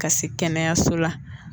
Ka se kɛnɛyaso la